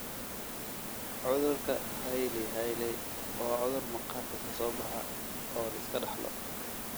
Cudurka Hailey Hailey waa cudur maqaarka ka soo baxa oo la iska dhaxlo.